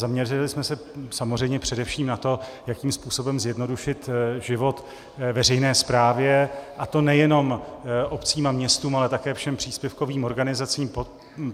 Zaměřili jsme se samozřejmě především na to, jakým způsobem zjednodušit život veřejné správě, a to nejen obcím a městům, ale také všem příspěvkovým organizacím.